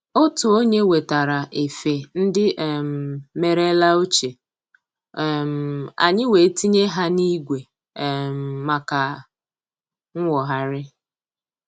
Otu onye wetara efe ndị um merela ochie, um anyị wee tinye ha n'igwe um maka nwogharị